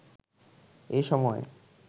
এ সময়ে